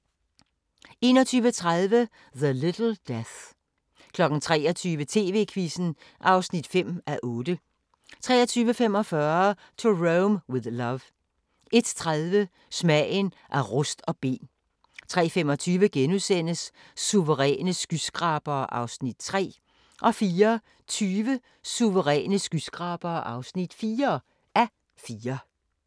21:30: The Little Death 23:00: TV-Quizzen (5:8) 23:45: To Rome with Love 01:30: Smagen af rust og ben 03:25: Suveræne skyskrabere (3:4)* 04:20: Suveræne skyskrabere (4:4)